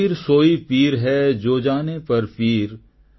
କବୀର ସୋଇ ପୀର ହେ ଜୋ ଜାନେ ପର ପୀର